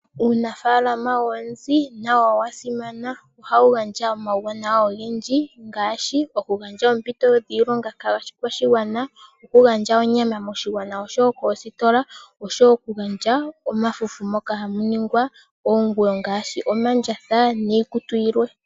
Uunafalama woonzi nawo owa simana, ohawu gaandja omawuwanawa ogendji ngaashi oku gandja oompiito dhiilonga kaakwashigwana, okugandja onyama moshigwana osho wo kositola ,osho wo oku gandja mafufu moka hamu nigwa onguwo ngaashi omandjatha niikutu yilwe.